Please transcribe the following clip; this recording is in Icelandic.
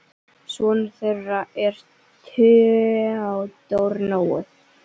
Sonur þeirra er Theodór Nói.